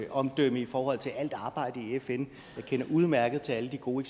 omdømme i forhold til alt arbejdet i fn jeg kender udmærket til alle de gode